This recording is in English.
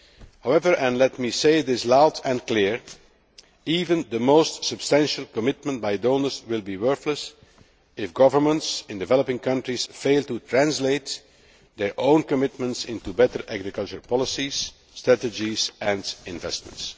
However and let me say this loud and clear even the most substantial commitment by donors will be worthless if governments in developing countries fail to translate their own commitments into better agricultural policies, strategies and investments.